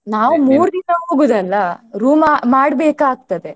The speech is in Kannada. ನಾವು ಹೋಗುದಲ್ಲ room ಮಾಡ್ಬೇಕಾಗ್ತದೆ.